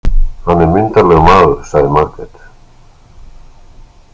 Hann er myndarlegur maður, sagði Margrét.